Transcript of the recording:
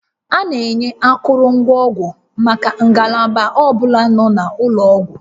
A na-enye akụrụngwa ọgwụ maka ngalaba ọ bụla n'ụlọ ọgwụ